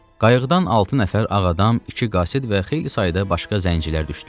Qayıqdan altı nəfər ağadam, iki qasid və xeyli sayda başqa zəncilər düşdülər.